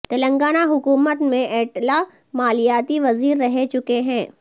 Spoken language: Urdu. تلنگانہ حکومت میں ایٹلہ مالیاتی وزیر رہے چکے ہیں